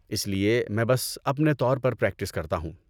اس لیے میں بس اپنے طور پر پریکٹس کرتا ہوں۔